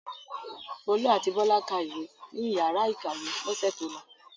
Folú àti Bọ́lá ka ìwé ní ìyàrá-ìkàwé lọ́sẹ̀ tó lọ.